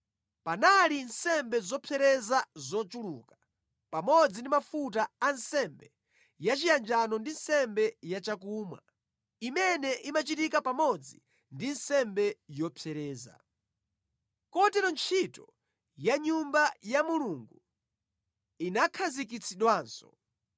Panali nsembe zopsereza zochuluka, pamodzi ndi mafuta a nsembe yachiyanjano ndi nsembe yachakumwa imene imachitika pamodzi ndi nsembe yopsereza. Kotero ntchito ya mʼNyumba ya Mulungu inakhazikitsidwanso.